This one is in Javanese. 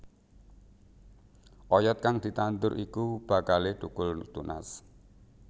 Oyod kang ditandur iku bakalé thukul tunas